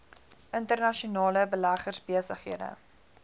internasionale beleggers besighede